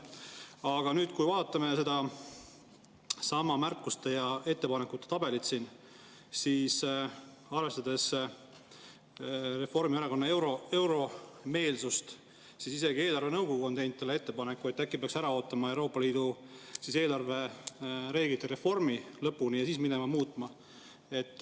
Aga kui vaatame seda märkuste ja ettepanekute tabelit siin, arvestades Reformierakonna euromeelsust, siis on isegi eelarvenõukogu teinud ettepaneku, et äkki peaks lõpuni ära ootama Euroopa Liidu eelarvereeglite reformi ja siis minema muutma.